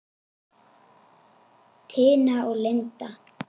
Tina og Linda.